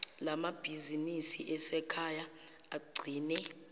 lamabhizinisi asekhaya agcine